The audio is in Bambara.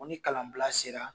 Ɔn ni kalan bila sela